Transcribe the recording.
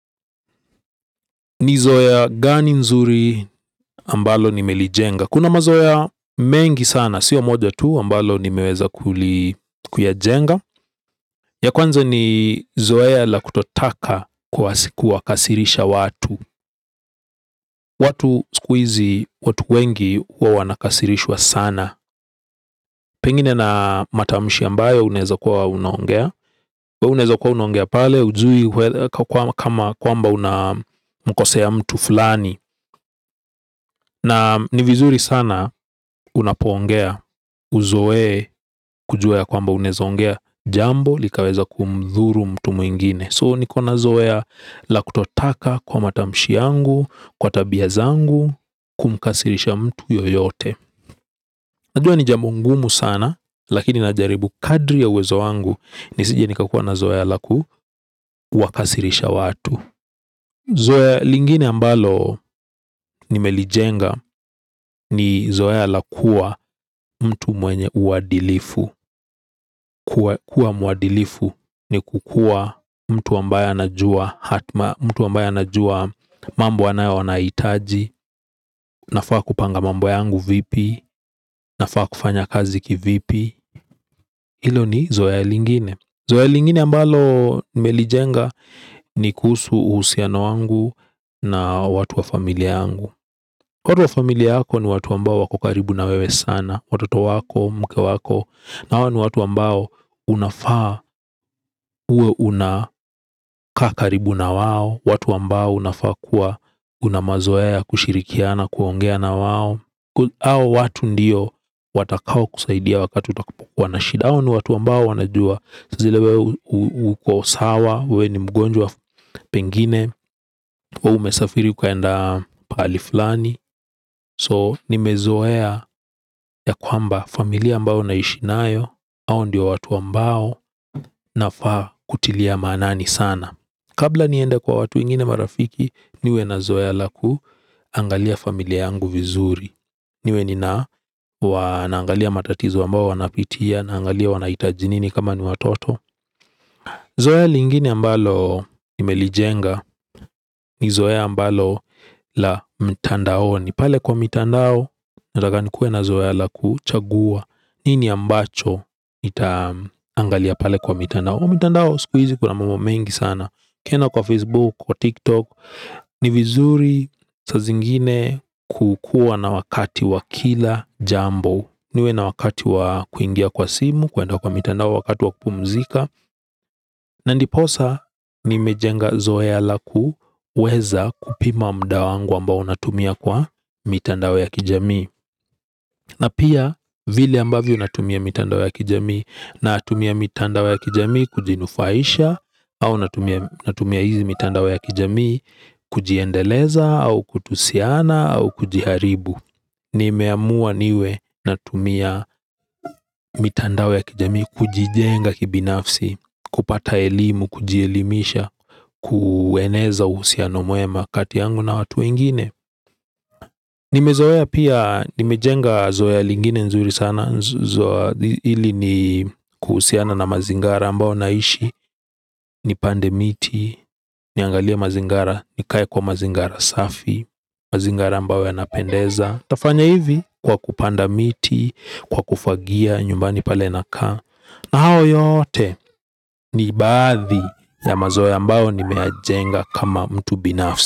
Ni zoea gani nzuri ambalo nimelijenga. Kuna mazoe mengi sana. Sio moja tu ambalo nimeeza kuyajenga. Ya kwanza ni zoea la kutotaka kuwakasirisha watu. Watu sikuizi watu wengi uwa wanakasirishwa sana. Pengine na matamshi ambayo uneza kuwa unaongea. Uneza kuwa unaongea pale. Ujui kama kwamba unamkosea mtu fulani. Na ni vizuri sana unapoongea uzoee kujua ya kwamba unezoongea jambo likaweza kumthuru mtu mwingine. So niko na zoea la kutotaka kwa matamshi angu, kwa tabia zangu, kumkasirisha mtu yoyote. Najua ni jambo ngumu sana, lakini najaribu kadri ya uwezo wangu nisije nikakua na zoea la kuwakasirisha watu. Zoea lingine ambalo nimelijenga ni zoea la. Kua mtu mwenye uwadilifu. Kua muadilifu ni kukua mtu ambaye anajua hatma mtu ambayee anajua mambo anayo anaitaji. Nafaa kupanga mambo yangu vipi nafaa kufanya kazi kivipi. Hilo ni zoea lingine. Zoea lingine ambalo ni melijenga ni kuhusu uhusiano wangu na watu wa familia yangu. Watu wa familia yako ni watu ambao wako karibu na wewe sana. Watoto wako, mke wako hao ni watu ambao unafaa uwe una kaa karibu na wao. Watu ambao unafaa kuwa una mazoea ya kushirikiana kuongea na wao ao watu ndiyo watakao kusaidia wakati utakapokua na shida ao ni watu ambao wanajua. Saa zile we uko sawa, we ni mgonjwa pengine we umesafiri ukaenda paali flani. So nimezoea ya kwamba familia ambao naishi nayo ao ndio watu ambao nafaa kutilia maanani sana. Kabla niende kwa watu wengine marafiki. Niwe na zoea lakuangalia familia yangu vizuri. Niwe nina wanaangalia matatizo ambao wanapitia. Naangalia wanaitaji nini kama ni watoto. Zoea lingine ambalo nimelijenga. Ni zoea ambalo la mtandaoni pale kwa mitandao, nataka nikuwe na zoea la kuchagua. Nini ambacho, nitaangalia pale kwa mitandao kwa mitandao, sikuizi kuna mambo mengi sana ukienda kwa Facebook, kwa tikTok. Ni vizuri saa zingine kukuwa na wakati wa kila jambo. Niwe na wakati wa kuingia kwa simu, kuenda kwa mitandao, wakati wa kupumuzika. Na ndiposa nimejenga zoea la kuweza kupima mda wangu ambao natumia kwa mitandao ya kijamii. Na pia vile ambavyo natumia mitandao ya kijamii. Natumia mitandao ya kijamii kujinufaisha au natumia hizi mitandao ya kijamii. Kujiendeleza au kutusiana au kujiharibu. Nimeamua niwe natumia mitandao ya kijami. Kujijenga kibinafsi. Kupata elimu, kujielimisha. Kueneza uhusiano mwema kati yangu na watu wengine. Nimezoea pia. Nimejenga zoea lingine nzuri sana. Ili ni kuhusiana na mazingara ambao naishi. Nipande miti. Niangalie mazingara. Nikae kwa mazingara safi. Mazingara ambao yanapendeza. Tafanya hivi kwa kupanda miti kwa kufagia nyumbani pale nakaa. Na hao yote ni baadhi ya mazoea ambao nime yajenga kama mtu binafsi.